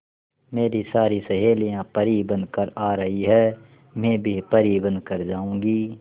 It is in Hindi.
मेरी सारी सहेलियां परी बनकर आ रही है मैं भी परी बन कर जाऊंगी